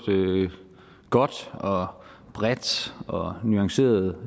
godt og bredt og nuanceret